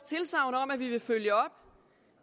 tilsagn om at vi vil følge op